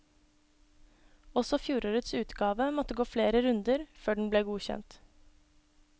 Også fjorårets utgave måtte gå flere runder før den ble godkjent.